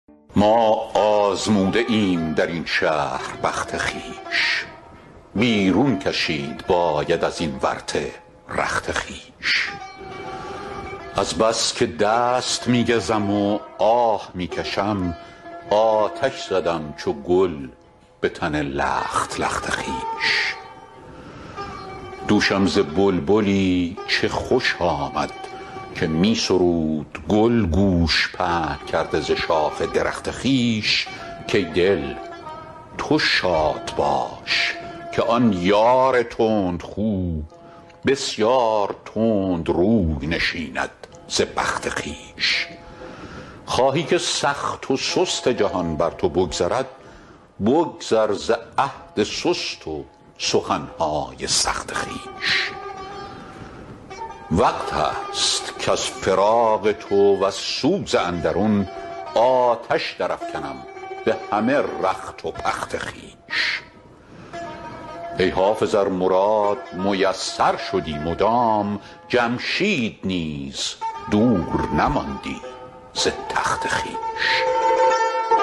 ما آزموده ایم در این شهر بخت خویش بیرون کشید باید از این ورطه رخت خویش از بس که دست می گزم و آه می کشم آتش زدم چو گل به تن لخت لخت خویش دوشم ز بلبلی چه خوش آمد که می سرود گل گوش پهن کرده ز شاخ درخت خویش کای دل تو شاد باش که آن یار تندخو بسیار تند روی نشیند ز بخت خویش خواهی که سخت و سست جهان بر تو بگذرد بگذر ز عهد سست و سخن های سخت خویش وقت است کز فراق تو وز سوز اندرون آتش درافکنم به همه رخت و پخت خویش ای حافظ ار مراد میسر شدی مدام جمشید نیز دور نماندی ز تخت خویش